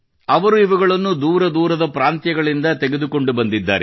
ಅವರು ಇವುಗಳನ್ನು ದೂರ ದೂರದ ಪ್ರಾಂತ್ಯಗಳಿಂದ ತೆಗೆದುಕೊಂಡು ಬಂದಿದ್ದಾರೆ